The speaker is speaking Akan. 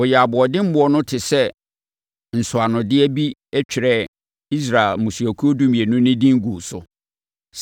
Wɔyɛɛ aboɔdemmoɔ no te sɛ nsɔanodeɛ bi twerɛɛ Israel mmusuakuo dumienu no din guu so.